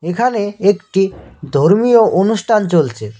এখানে একটি ধর্মীয় অনুষ্ঠান চলছে।